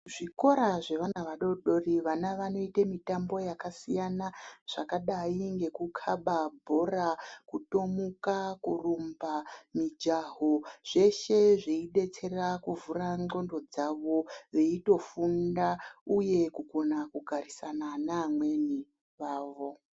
Zvikora zvevana vadoodori vana vanoite mitambo yakasiyana zvakadai ngekukhaba bhora kutomuka kurumba zveshe zveibetsera kuvhura ngqondo dzavo veyitofunda uye kugona kugarisana nevamweni vavo.